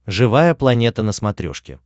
живая планета на смотрешке